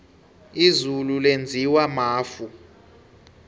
izulu lenziwa mafu